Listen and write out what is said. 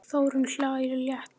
Þórunn hlær létt.